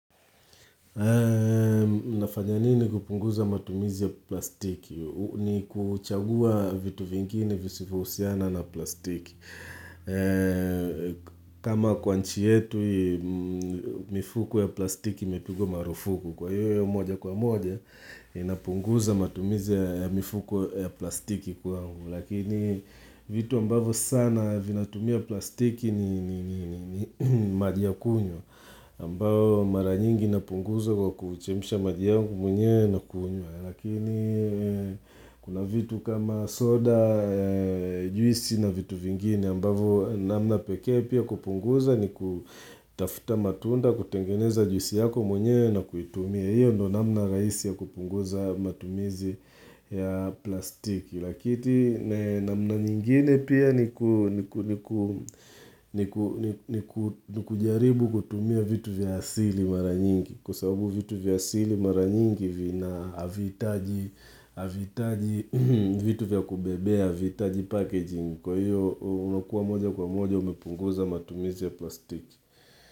Nafanyanini kupunguza matumizi ya plastiki ni kuchagua vitu vingine visivyohusiana na plastiki kama kwanchi yetu mifuko ya plastiki imepigwa marufuku kwa hiyo moja kwa moja inapunguza matumizi ya mifuko ya plastiki kwa humu Lakini vitu ambavyo sana vinatumia plastiki ni maji ya kunywa ambao mara nyingi inapunguza kwa kuchemsha majiyangu mwenyewe na kunywa Lakini kuna vitu kama soda, juisi na vitu vingine ambao namna pekee pia kupunguza ni kutafuta matunda kutengeneza juisi yako mwenyewe na kuitumia hiyo ndio namna rahisi ya kupunguza matumizi ya plastiki Lakiti na mna nyingine pia ni kujaribu kutumia vitu vya asili maranyinki Kwa sababu vitu vya asili maranyinki vina havihitaji hAvitaji vitu vya kubebea, havihitaji packaging Kwa hiyo unakuwa moja kwa moja umepunguza matumizi ya plastiki.